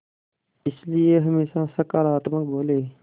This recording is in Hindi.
इसलिए हमेशा सकारात्मक बोलें